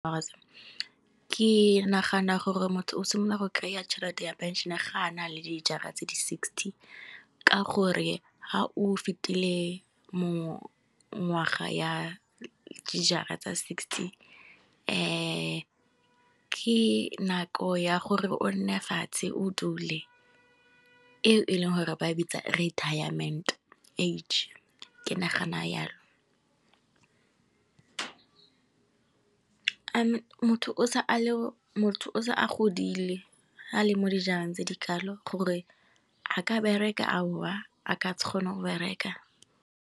Ke nagana gore motho o simolola go kry-a tšhelete ya phenšene ga a na le dijara tse di sixty. Ka gore ha o fetile mongwaga ya di jara tsa sixty. ke nako ya gore o nne fatshe o dule, eo e leng gore ba bitsa retirement age ke nagana yalo. Motho o se a godile a le mo dijareng tse di kalo gore a ka bereka a o a, a ka se kgone go bereka.